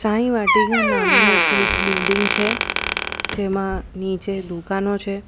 સાઈ વાટીકા નામનું એક બિલ્ડીંગ છે જેમાં નીચે દુકાનો છે.